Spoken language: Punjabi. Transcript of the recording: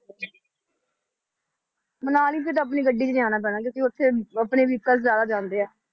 ਮਨਾਲੀ ਫਿਰ ਆਪਣੀ ਗੱਡੀ 'ਚ ਜਾਣਾ ਪੈਣਾ ਕਿਉਂਕਿ ਉੱਥੇ ਆਪਣੇ vehicle ਜ਼ਿਆਦਾ ਜਾਂਦੇ ਆ।